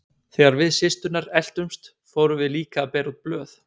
Þegar við systurnar eltumst fórum við líka að bera út blöð.